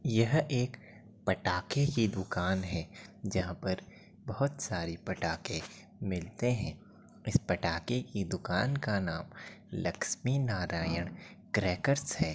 यह एक पटाखे की दुकान है जहाँ पर बहोत सारे पटाखे मिलते हैं। इस पटाके की दुकान का नाम लकस्मि नारायण क्रेकर्स है।